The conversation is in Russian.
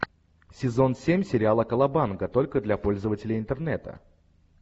сезон семь сериала колобанга только для пользователей интернета